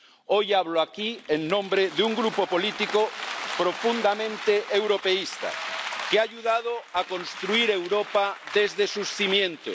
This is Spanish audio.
Hoy hablo aquí en nombre de un Grupo político profundamente europeísta, que ha ayudado a construir Europa desde sus cimientos